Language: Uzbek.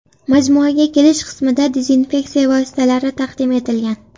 Majmuaga kirish qismida dezinfeksiya vositalari taqdim etilgan.